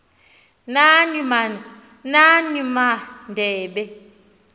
nani ma adebe